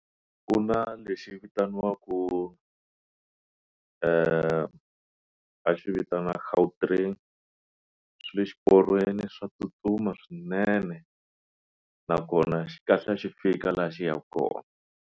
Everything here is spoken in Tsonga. Ku na lexi vitaniwaku va xi vitana Gautrain swi le swiporweni swa tsutsuma swinene nakona xi kahlula xi fika laha xi yaka kona.